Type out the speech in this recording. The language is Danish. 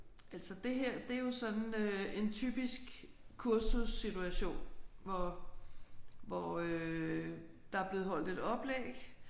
Altså det her det er jo sådan øh en typisk kursussituation hvor hvor øh der er blevet holdt et oplæg